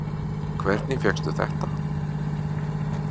Hvernig fékkstu þetta?